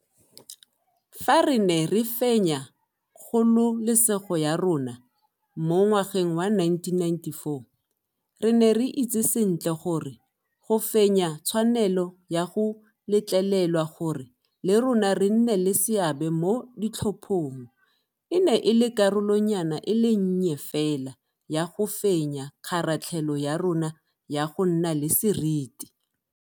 Fa re ne re fenya kgololesego ya rona mo ngwageng wa 1994, re ne re itse sentle gore go fenya tshwanelo ya go letlelelwa gore le rona re nne le seabe mo ditlhophong e ne e le karolonyana e le nnye fela ya go fenya kgaratlhelo ya rona ya go nna le seriti.